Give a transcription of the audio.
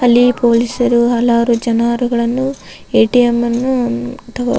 ಅಲ್ಲಿ ಪೊಲೀಸರು ಹಲವಾರು ಜನರುಗಳನ್ನು ಎ.ಟಿ.ಎಂ ಅನ್ನು ಅಥವಾ --